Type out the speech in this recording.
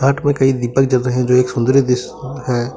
घाट पर कई दीपक जल रहे हैं जो एक सुन्दरी दृश्य है।